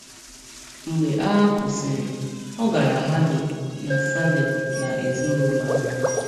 Mgbe agha kwụsịrị, ọ gara Halle na Saale na ezinụlọ ahụ.